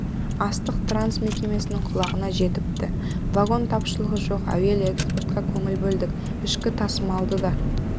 астық транс мекемесінің құлағына жетіпті вагон тапшылығы жоқ әуелі экспортқа көңіл бөлдік ішкі тасымалды да